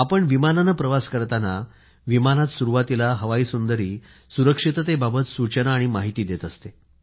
आपण विमानाने प्रवास करताना विमानात सुरवातीला हवाई सुंदरी सुरक्षिततेबाबत सूचना आणि माहिती देत असते